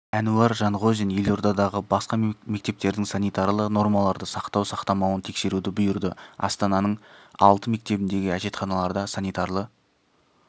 әнуар жанғозин елордадағы барлық мектептердің санитарлы нормаларды сақтау-сақтамауын тексеруді бұйырды астананың алты мектебіндегі әжетханаларда санитарлы